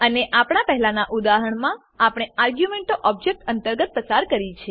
અને આપણા પહેલાનાં ઉદાહરણમાં આપણે આર્ગ્યુંમેંટો ઓબજેક્ટ અંતર્ગત પસાર કરી છે